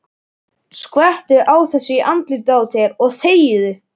Skvettu þessu í andlitið á þér og þegiðu.